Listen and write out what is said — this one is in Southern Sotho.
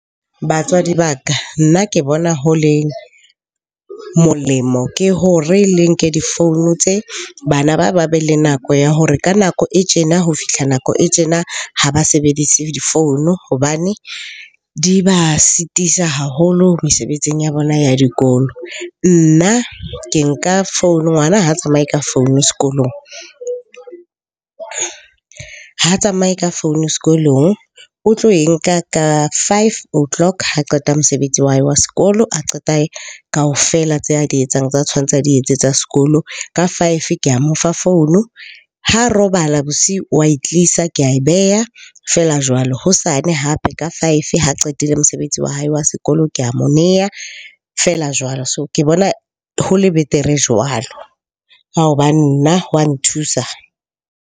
Batswadi ba ka nna ke bona ho le molemo ke hore le nke difounu tse, bana ba ba be le nako ya hore ka nako e tjena ho fihla nako e tjena ha ba sebedise difounu hobane di ba sitisa haholo mesebetsing ya bona ya dikolo. Nna ke nka founu, ngwana ha a tsamaye ka founu sekolong. Ha tsamaye ka founu sekolong. O tlo e nka ka five o' clock ha qeta mosebetsi wa hae wa sekolo, a qeta kaofela tse a di etsang, tsa tshwantse a di etse tsa sekolo. Ka five ke a mo fa founu, ha robala bosiu wa e tlisa ke ae beha, feela jwalo. Hosane hape ka five ha qetile mosebetsi wa hae wa sekolo, ke a mo neha feela jwalo. So, ke bona ho le betere jwalo ka hoba nna wa nthusa.